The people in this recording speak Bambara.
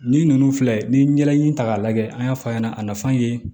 Ni ninnu filɛ ni ye ɲɛda in ta k'a lajɛ an y'a fɔ a ɲɛna a nafa ye